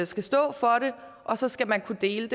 skal stå for det og så skal man kunne dele